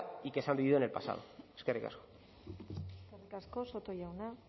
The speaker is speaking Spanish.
y que se han vivido en el pasado eskerrik asko eskerrik asko soto jauna